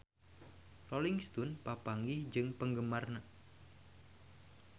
Rolling Stone papanggih jeung penggemarna